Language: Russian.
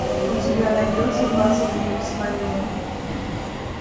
у тебя найдется двадцать дней без войны